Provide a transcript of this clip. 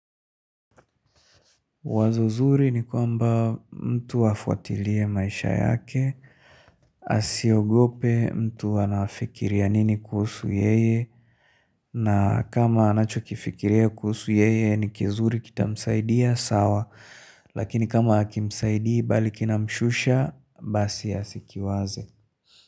Wazo zuri ni kwamba mtu afuatilie maisha yake, asiogope mtu anafikiria nini kuhusu yeye, na kama anachokifikiria kuhusu yeye ni kizuri kitamsaidia sawa, lakini kama akimsaidi bali kinamshusha, basi asikiwaze.